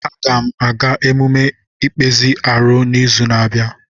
Aga m aga emume ikpezi arụ n'izu na-abịa.